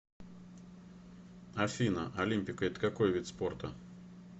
афина олимпико это какой вид спорта